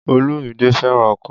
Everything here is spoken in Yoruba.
Olumide fẹ́ràn ọkọ̀